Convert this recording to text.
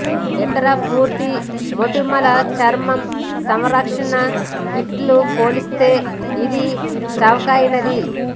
ఇతర పూర్తి మోటిమలు చర్మ సంరక్షణ కిట్లు పోలిస్తే ఇది చవకైనది